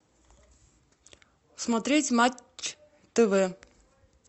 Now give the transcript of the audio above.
смотреть матч тв